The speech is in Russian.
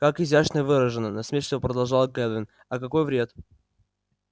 как изящно выражено насмешливо продолжала кэлвин а какой вред